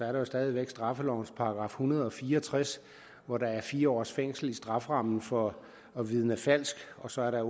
jo stadig væk straffelovens § en hundrede og fire og tres hvor der er fire års fængsel i strafferammen for at vidne falsk og så er der